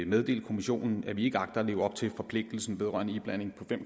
meddele kommissionen at vi ikke agter at leve op til forpligtelsen vedrørende iblanding